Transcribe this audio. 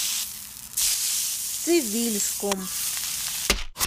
цивильском